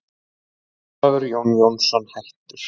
Ólafur Jón Jónsson, hættur